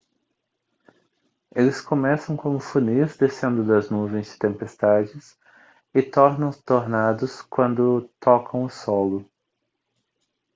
eles começam como funis descendo das nuvens de tempestades e tornam tornados quando tocam o solo